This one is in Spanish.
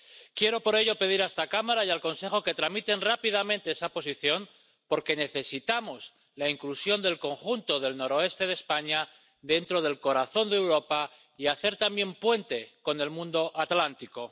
Quiero, por ello, pedir a esta Cámara y al Consejo que tramiten rápidamente esa posición porque necesitamos incluir al conjunto del noroeste de España dentro del corazón de Europa, y hacer también puente con el mundo atlántico.